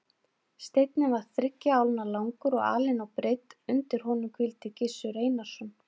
Steinninn var þriggja álna langur og alin á breidd, undir honum hvíldi Gizur Einarsson.